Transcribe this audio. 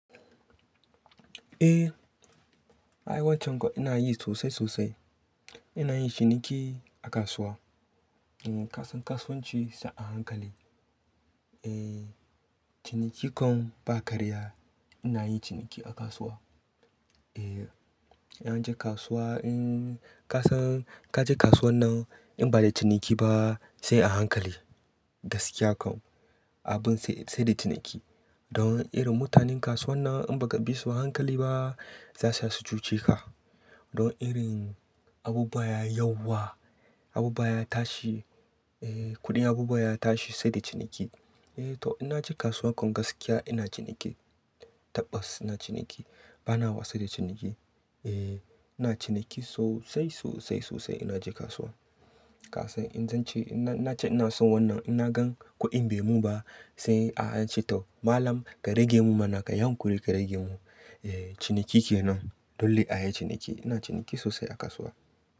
Eh, aywaccan ko ina yi sosai sosai. Ina yin ciniki a kasuwa. Eh, kasan kasuwanci sai a hankali. E, ciniki kan ba karya. Ina yin ciniki a kasuwa. E, in na je kasuwa, in kasan ka je kasuwar nan in ba da ciniki ba sai a hankali. Gaskiya kam abin sai, sai da ciniki. Don irin mutanen kasuwar nan in ba ka bi su ba hankali ba za su iya su cuce ka. Don irin abubuwa ya yauwa, abubuwa ya tashi, eh kuɗin abubuwa ya tashi sai da ciniki. Eh to ina je kasuwa kan gaskiya ina ciniki. Tabbas ina ciniki. Bana wasa da ciniki. E, ina ciniki sosai sosai sosai ina je kasuwa. Kasan in zan ce ina, ina ce ina son wannan ina gan kuɗin bai mun ba sai a ce tau malam ka rage mu mana kayi hankuri ka rage mu. E, ciniki ke nan. Dole ayi ciniki. Ina ciniki sosai a kasuwa.